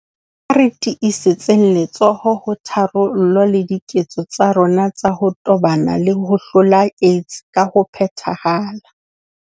Ha re tiisetseng letsoho ho tharollo le diketso tsa rona tsa ho tobana le ho hlola AIDS ka ho phethahala.